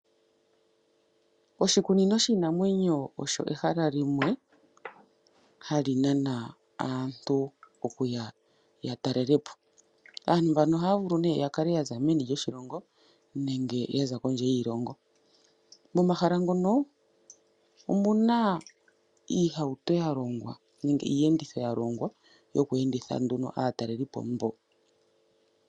Oshikunino shiinanwenyo osho ehala limwe hali nana aantu okuya ya talelepo. Aantu mbano ohaya vulu nee yakale yaza meni lyoshilongo nenge yaza kondje yiilongo. Momahala ngono omuna iihauto ya longwa nenge iiyenditho ya longwa yoku enditha nduno aatalelipo mboka.